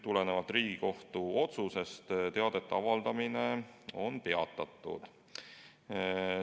Tulenevalt Riigikohtu otsusest on teadete avaldamine peatatud.